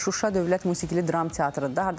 Şuşa Dövlət Musiqili Dram Teatrıdır da.